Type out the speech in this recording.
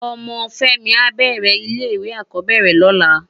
Òmò Femi á bèrè ile iwé ákòbèrè lòlá